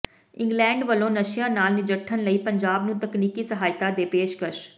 England ਵੱਲੋਂ ਨਸ਼ਿਆਂ ਨਾਲ ਨਜਿੱਠਣ ਲਈ ਪੰਜਾਬ ਨੂੰ ਤਕਨੀਕੀ ਸਹਾਇਤਾ ਦੇ ਪੇਸ਼ਕਸ਼